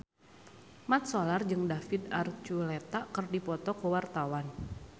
Mat Solar jeung David Archuletta keur dipoto ku wartawan